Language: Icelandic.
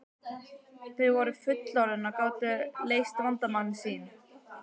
Þau voru fullorðin og gátu leyst vandamál sín.